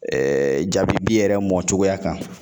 jabibi yɛrɛ mɔcogoya kan